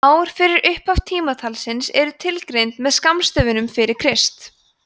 ár fyrir upphaf tímatalsins eru tilgreind með skammstöfunum fyrir krist